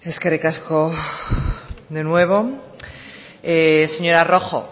eskerrik asko de nuevo señora rojo